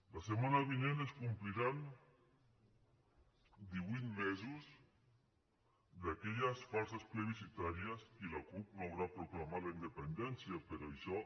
la setmana vinent es compliran divuit mesos d’aquelles falses plebiscitàries i la cup no haurà proclamat la independència però això